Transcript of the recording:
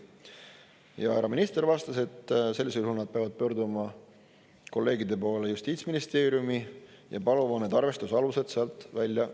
Härra minister vastas, et sellisel juhul nad peavad pöörduma kolleegide poole Justiitsministeeriumi ja paluma need arvestuse alused sealt välja.